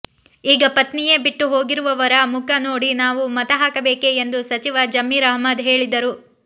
ಈಗ ಪತ್ನಿಯೇ ಬಿಟ್ಟು ಹೋಗಿರುವವರ ಮುಖ ನೋಡಿ ನಾವು ಮತ ಹಾಕಬೇಕೆ ಎಂದು ಸಚಿವ ಜಮೀರ್ ಅಹ್ಮದ್ ಹೇಳಿದ್ದರು